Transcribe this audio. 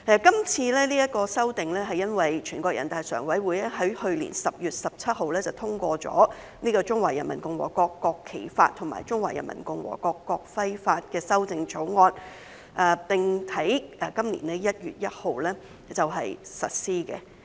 今次這項修訂是由於全國人大常委會在去年10月17日通過了《中華人民共和國國旗法》和《中華人民共和國國徽法》的修正草案，並於今年1月1日實施。